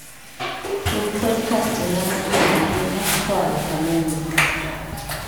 tug podkastina manyien ahinya koa e kameme